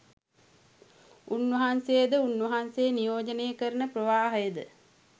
උන් වහන්සේද උන් වහන්සේ නියෝජනය කරන ප්‍රවාහයද